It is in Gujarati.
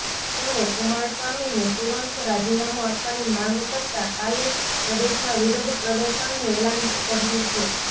તેમણે કુમારસ્વામીને તુરંત રાજીનામું આપવાની માંગ કરતા કાલે પ્રદેશમાં વિરોધ પ્રદર્શનનું એલાન કર્યું છે